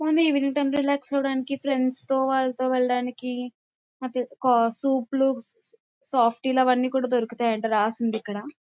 Relax అవ్వడానికి friends తో వాళ్లతో వెళ్లడానికి సూప్స్ లో సాఫ్ టీలు అవన్నీ దొరుకుతాయి అంటే రాసింది ఇక్కడ.